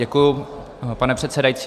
Děkuji, pane předsedající.